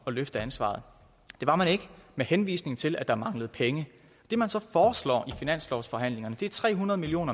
at løfte ansvaret det var man ikke med henvisning til at der manglede penge det man så foreslår i finanslovsforhandlingerne er tre hundrede million